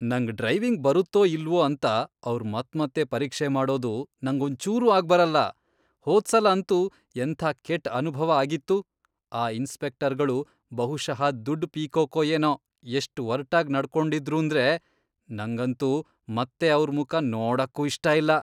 ನಂಗ್ ಡ್ರೈವಿಂಗ್ ಬರತ್ತೋ ಇಲ್ವೋ ಅಂತ ಅವ್ರ್ ಮತ್ಮತ್ತೆ ಪರೀಕ್ಷೆ ಮಾಡೋದು ನಂಗೊಂಚೂರೂ ಆಗ್ಬರಲ್ಲ. ಹೋದ್ಸಲ ಅಂತೂ ಎಂಥ ಕೆಟ್ಟ್ ಅನುಭವ ಆಗಿತ್ತು. ಆ ಇನ್ಸ್ಪೆಕ್ಟರ್ಗಳು ಬಹುಶಃ ದುಡ್ಡ್ ಪೀಕೋಕೋ ಏನೋ ಎಷ್ಟ್ ಒರ್ಟಾಗ್ ನಡ್ಕೊಂಡಿದ್ರೂಂದ್ರೆ ನಂಗಂತೂ ಮತ್ತೆ ಅವ್ರ್ ಮುಖ ನೋಡಕ್ಕೂ ಇಷ್ಟ ಇಲ್ಲ.